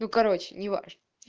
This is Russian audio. ну короче не важно